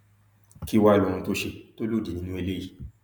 kí wàá ní ohun tó ṣe tó lòdì nínú eléyìí